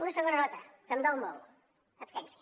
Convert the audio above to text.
una segona nota que em dol molt absència